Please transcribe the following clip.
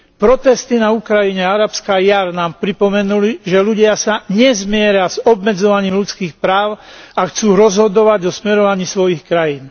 Protesty na Ukrajine a Arabská jar nám pripomenuli, že ľudia sa nezmieria s obmedzovaním ľudských práv a chcú rozhodovať o smerovaní svojich krajín.